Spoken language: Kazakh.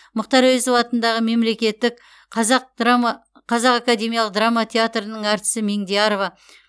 мұқтар әуезов атындағы мемлекеттік қазақ академиялық драма театрының әртісі меңдиярова